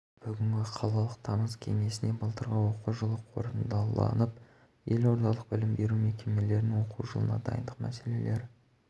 нәтижесі балға артып балды құрады сондай-ақ жыл санап мектепті алтын белгімен тәмамдайтын үздіктер қатары артып